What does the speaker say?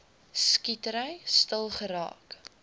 skietery stil geraak